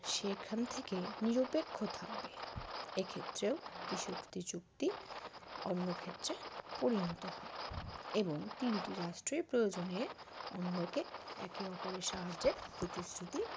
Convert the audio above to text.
সেখান থেকে নিরপেক্ষ থাকবে এক্ষেত্রেও ত্রিশক্তি চুক্তি অন্য ক্ষেত্রে পরিণত হয় এবং তিনটি রাষ্ট্রের প্রয়োজনে অন্য কে একে অপরের সাহায্যের প্রতিশ্রুতি